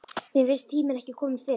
Mér fannst tíminn ekki kominn fyrr.